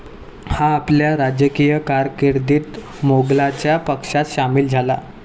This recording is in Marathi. हा आपल्या राजकीय कारकिर्दीत मोघलांच्या पक्षात सामील झाला.